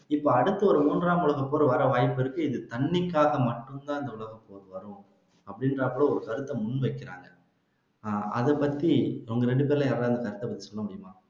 இப்ப அடுத்து ஒரு மூன்றாம் உலகப்போர் வர வாய்ப்பிருக்கு இது தண்ணிக்காக மட்டும்தான் இந்த உலகப்போர் வரும் அப்படின்னு ஒரு கருத்தை முன் வைக்கிறாங்க அதைப்பத்தி உங்க ரெண்டு பேர்ல யாராவது கருத்து சொல்ல முடியுமா